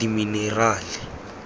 dimenerale